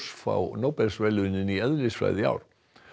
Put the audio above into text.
fá Nóbelsverðlaunin í eðlisfræði í ár